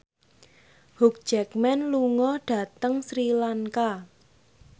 Hugh Jackman lunga dhateng Sri Lanka